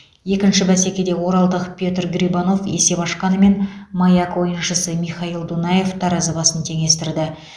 екінші бәсекеде оралдық петр грибанов есеп ашқанымен маяк ойыншысы михаил дунаев таразы басын теңестірді